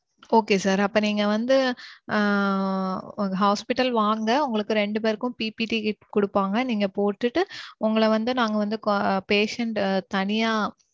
Okay sir. அப்போ நீங்க வந்து ஆஹ் hospital வாங்க உங்களுக்கு ரெண்டு பேருக்கும் PPT kit குடுப்பாங்க. நீங்க போட்டுட்டு உங்கள வந்து நாங்க வந்து patient தனியா